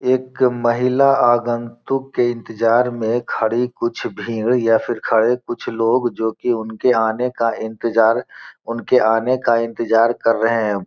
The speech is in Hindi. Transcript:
एक महिला आगंतुक के इंतजार में खड़ी कुछ भीड़ या फिर खड़े कुछ लोग जो कि उनके आने का इंतजार आने का इंतजार कर रहे हैं।